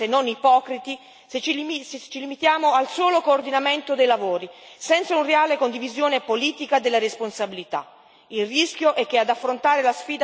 Ma tutti i nostri sforzi saranno vani, se non ipocriti, se ci limitiamo al solo coordinamento dei lavori senza una reale condivisione politica della responsabilità.